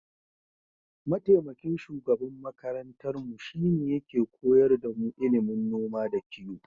Mataimakin shugaban makarantarmu shine yake koyar damu ilimin noma da kiyo.